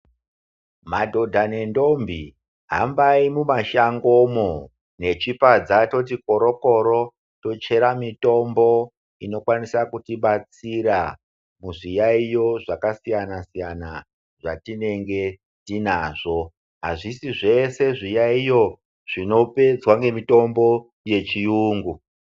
Madhodha nendombi, hambayi mumashangomwo nechipadza toti poroporo tochera mitombo inokwanisa kutibatsira muzviyayiyo zvakasiyanasiyana zvatinenge tinazvo. Azvisi zvese zviyayiyo zvinopedzwa ngemitombo yechiyengu.